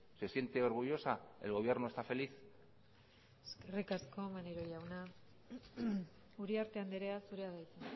se siente orgullosa el gobierno está feliz eskerrik asko maneiro jauna uriarte andrea zurea da hitza